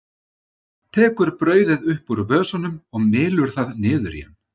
Tekur brauðið upp úr vösunum og mylur það niður í hann.